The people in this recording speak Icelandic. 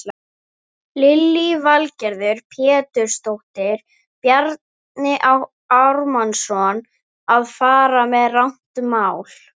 Lillý Valgerður Pétursdóttir: Bjarni Ármannsson að fara með rangt mál?